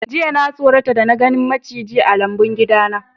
Jiya na sorata da na ganin maciji a lambun gida na.